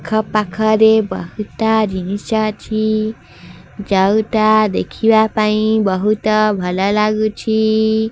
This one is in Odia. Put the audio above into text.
ଆଖ ପାଖରେ ବୋହୁତ ଜିନିଷ ଅଛି ଯୋଉଟା ଦେଖିବା ପାଇଁ ବୋହୁତ ଭଲ ଲାଗୁଛି।